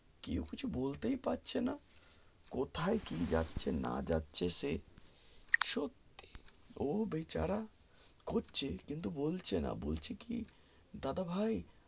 কেউ কিছু বলতেই পারছে না কোথায় কি যাচ্ছে না যাচ্ছে সে সত্যি ও বেচারা কোস্চে কিন্তু বলছে না বলছে কি দাদা ভাই